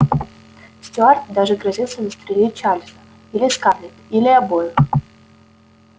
стюарт даже грозился застрелить чарлза или скарлетт или обоих